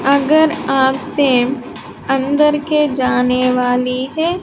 अगर आपसे अंदर के जाने वाली है।